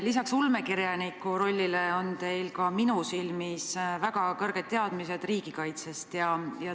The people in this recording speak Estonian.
Lisaks ulmekirjaniku rollile on teil minu arvates ka väga head teadmised riigikaitsest.